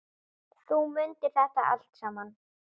Þú mundir þetta allt saman.